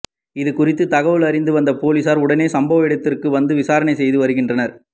இதுகுறித்து தகவல் அறிந்த போலீசார் உடனே சம்பவ இடத்திற்க்கு வந்து விசாரணை செய்து வருகின்றனர்